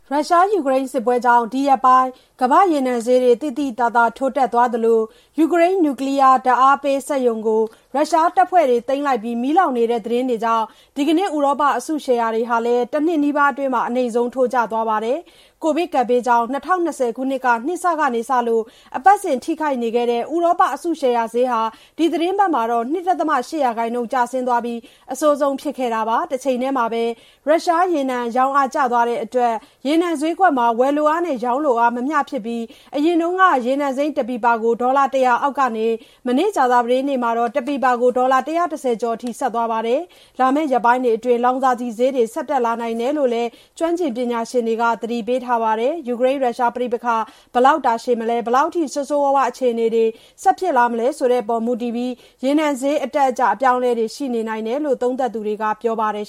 ရုရှား-ယူကရိန်း စစ်ပွဲကြောင့် ဒီရက်ပိုင်း ကမ္ဘာ့ရေနံဈေးတွေ သိသိသာသာ ထိုးတက်သွားသလို ယူကရိန်း နျူကလီးယား ဓါတ်အားပေးစက်ရုံကို ရုရှားတပ်ဖွဲ့တွေ သိမ်းလိုက်ပြီး မီးလောင်နေတဲ့သတင်းတွေကြောင့် ဒီကနေ့ ဥရောပ အစုရှယ်ယာတွေဟာလည်း တနှစ်နီးပါးအတွင်း အနိမ့်ဆုံး ထိုးကျသွားပါတယ်။ ကိုဗစ်ကပ်ဘေးကြောင့် ၂၀၂၀ ခုနှစ် နှစ်စကစလို့ အပတ်စဉ် ထိခိုက်နေခဲ့တဲ့ ဥရောပ အစုရှယ်ယာဈေးဟာ ဒီသီတင်းပတ်မှာတော့ ၂.၈ % အထိ ကျဆင်းသွားခဲ့ပြီး အဆိုးဆုံး ဖြစ်ခဲ့တာပါ။ တချိန်တည်းမှာပဲ ရုရှား ရေနံ ရောင်းအား ကျသွားတဲ့အတွက် ရေနံဈေးကွက်မှာ ဝယ်လိုအားနဲ့ ရောင်းအား မမျှဖြစ်ပြီး အရင်က ရေနံစိမ်းတပီပါကို ဒေါ်လာ ၁၀၀ အောက်ကနေ မနေ့က ကြာသပတေး နေ့မှာတော့ တပီပါကို ဒေါ်လာ ၁၁၀ ကျော်အထိ သွားပါတယ်။ လာမယ့် ရက်ပိုင်းတွေအတွင်း လောင်စာဆီဈေးတွေ ဆက်တက်လာနိုင်တယ်လို့ လည်း ကျွမ်းကျင်ပညာရှင်တွေက သတိပေးထားပါတယ်။ ယူကရိန်း- ရုရှား ပဋိပက္ခ ဘယ်လောက် တာရှည်မလဲ၊ ဘယ်လောက်အထိ ဆိုးဆိုးရွားရွား အခြေအနေတွေ ဆက်ဖြစ်လာမလဲ ဆိုတာအပေါ် မူတည်ပြီး ရေနံဈေး အတက်အကျ အပြောင်းအလဲတွေ ရှိနေနိုင်တယ်လို့ သုံးသပ်သူတွေက ပြောပါတယ်